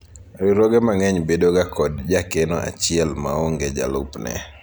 riwruoge mang'eny bedo ga kod jakeno achiel maonge jalupne